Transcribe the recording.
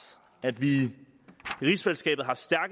at vi